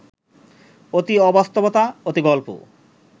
অতি অবাস্তবতা, অতি গল্প